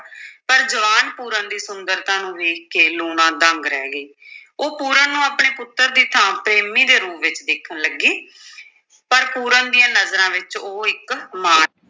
ਪਰ ਜਵਾਨ ਪੂਰਨ ਦੀ ਸੁੰਦਰਤਾ ਨੂੰ ਵੇਖ ਕੇ ਲੂਣਾ ਦੰਗ ਰਹਿ ਗਈ ਉਹ ਪੂਰਨ ਨੂੰ ਆਪਣੇ ਪੁੱਤਰ ਦੀ ਥਾਂ ਪ੍ਰੇਮੀ ਦੇ ਰੂਪ ਵਿੱਚ ਦੇਖਣ ਲੱਗੀ ਪਰ ਪੂਰਨ ਦੀਆਂ ਨਜ਼ਰਾਂ ਵਿੱਚ ਉਹ ਇੱਕ ਮਾਂ